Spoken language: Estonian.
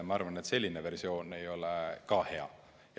Ma arvan, et selline valik ei ole ka hea.